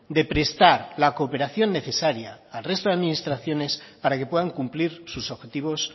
de prestar la cooperación necesaria al resto de administraciones para que puedan cumplir sus objetivos